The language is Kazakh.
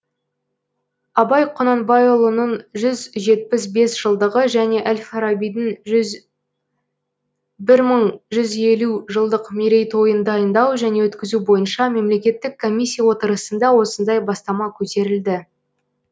абай құнанбайұлының жүз жетпіс бес жылдығы және әл фарабидің бір мың жүз елу жылдық мерейтойын дайындау және өткізу бойынша мемлекеттік комиссия отырысында осындай бастама көтерілді